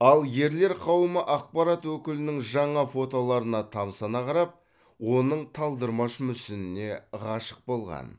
ал ерлер қауымы ақпарат өкілінің жаңа фотоларына тамсана қарап оның талдырмаш мүсініне ғашық болған